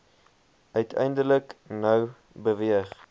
uiteindelik nou beweeg